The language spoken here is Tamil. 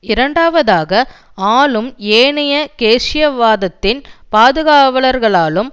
இரண்டாவதாக ஆலும் ஏனைய கேய்ன்ஸியவாதத்தின் பாதுகாவலர்களாலும்